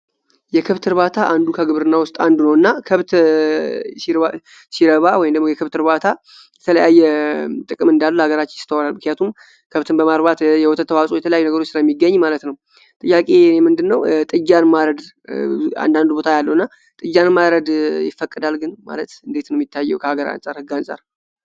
የከብት እርባታ አንዱ ከግብርና ውስጥ አንዱና ከብት ሲረባ የከብት እርባታ የተለያየ ጥቅም እንዳለው አገራችን ይስተዋላሉ። የቱ ጋር ነው በማለት የወተት ተዋፅኦ የተለየ ነገር ውስጥ ስለሚገኝ ማለት ነው። ጥያቄ ምንድነው ጥጃን ማረድ አንዳንድ ቦታ ያልሆነ ጥጃን ማረድ ይፈቀዳል ግን ማለት እንዴት ነው? የታየው ከአገር አንፃር ከህግ አንጻር?